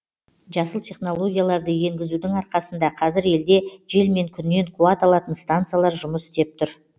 жасыл технологияларды енгізудің арқасында қазір елде жел мен күннен қуат алатын станциялар жұмыс істеп тұр